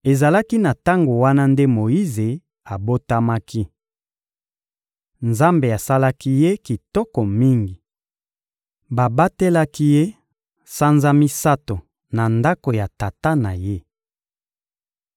Ezalaki na tango wana nde Moyize abotamaki. Nzambe asalaki ye kitoko mingi. Babatelaki ye sanza misato na ndako ya tata na ye.